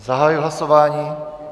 Zahajuji hlasování.